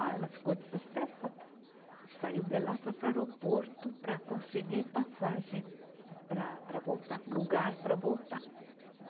Ah, ela ficou desesperada, saiu de lá, foi para o aeroporto para conseguir passagem para, para voltar, lugar para voltar.